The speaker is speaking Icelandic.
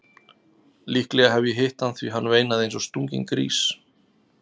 Líklega hef ég hitt hann því hann veinaði eins og stunginn grís.